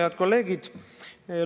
Head kolleegid!